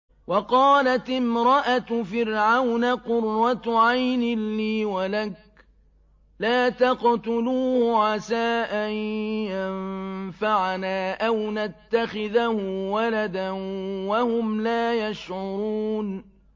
وَقَالَتِ امْرَأَتُ فِرْعَوْنَ قُرَّتُ عَيْنٍ لِّي وَلَكَ ۖ لَا تَقْتُلُوهُ عَسَىٰ أَن يَنفَعَنَا أَوْ نَتَّخِذَهُ وَلَدًا وَهُمْ لَا يَشْعُرُونَ